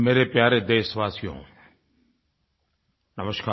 मेरे प्यारे देशवासियो नमस्कार